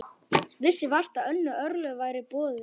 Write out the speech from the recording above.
Vissi vart að önnur örlög væru í boði.